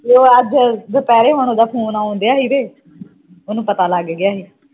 ਨਹੀਂ ਨਹੀਂ ਫੋਨ ਨਹੀਂ ਮੈਂ ਕਰਦਾ ਆ ਲਾਸਟ ਵਾਰੀ ਹੈ ਨਾ ਕੇ ਇਕ।